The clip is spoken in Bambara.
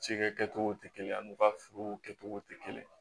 Cikɛ kɛcogo tɛ kelen ye ani u ka furuw kɛcogow tɛ kelen ye